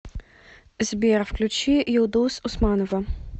сбер включи юлдуз усманова